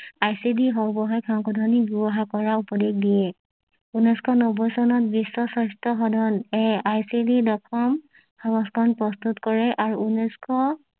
ICD সৰ্বাসায়িক সংশোধনী ব্যৱহাৰ কৰা উপদেশ দিয়ে ঊনৈশ নব্বৈ চনত বিশ্ব স্বাস্থ্য সদন এ আইচিডি দশম সংস্কাৰণ প্ৰস্তুত কৰে আৰু ঊনৈশ